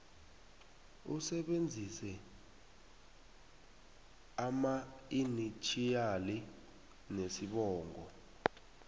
usebenzise amainitjhiyali nesibongo